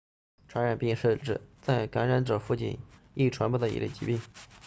传染病是指在感染者附近极易传播的一类疾病